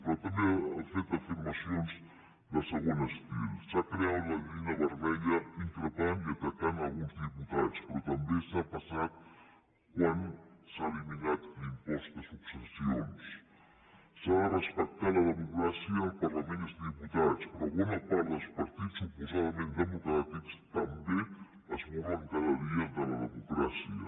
però també ha fet afirmacions del següent estil s’ha creuat la línia vermella increpant i atacant alguns diputats però també s’ha passat quan s’ha eliminat l’impost de succes sions s’ha de respectar la democràcia el parlament i els diputats però bona part dels partits suposadament democràtics també es burlen cada dia de la democràcia